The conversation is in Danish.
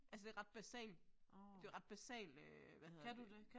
Altså det ret basal det jo ret basal øh hvad hedder det